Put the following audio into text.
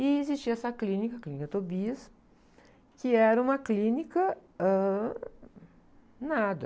E existia essa clínica, Clínica Tobias, que era uma clínica, ãh... Nada.